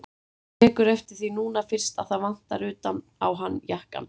Tekur eftir því núna fyrst að það vantar utan á hann jakkann.